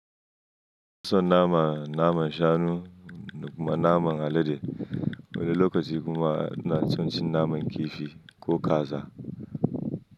Ina son naman, naman shanu da kuma naman alade. Wani lokaci kuma ina son cin naman kifi ko kaza.